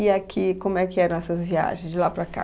E aqui, como é que eram essas viagens de lá para cá?